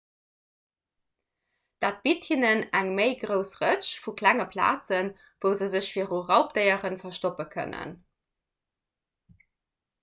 dat bitt hinnen eng méi grouss rëtsch vu klenge plazen wou se sech viru raubdéiere verstoppe kënnen